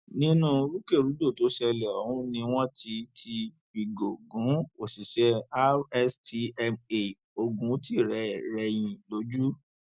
nínú rúkèrúdò tó ṣẹlẹ ọhún ni wọn ti ti fìgò gún òṣìṣẹ rstma oguntìrẹrẹhìn lójú